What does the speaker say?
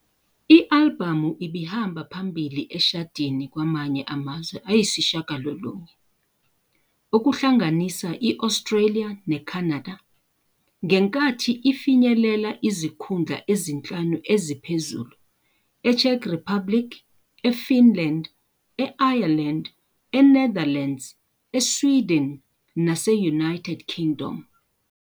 I-albhamu ibihamba phambili eshadini kwamanye amazwe ayisishiyagalolunye, okuhlanganisa i-Australia neCanada, ngenkathi ifinyelela izikhundla ezinhlanu eziphezulu e-Czech Republic, eFinland, e-Ireland, eNetherlands, eSweden nase-United Kingdom.